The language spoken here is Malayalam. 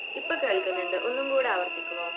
ഇപ്പോൾ കേൾക്കുന്നുണ്ട് ഒന്നും കൂടെ ആവർത്തിക്കുമോ?